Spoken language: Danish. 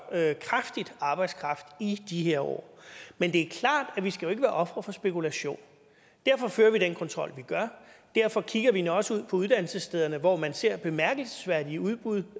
kraftigt arbejdskraft i de her år men det er klart at vi ikke skal være ofre for spekulation og derfor fører vi den kontrol vi gør og derfor kigger vi også ud på uddannelsesstederne hvor man ser bemærkelsesværdige udbud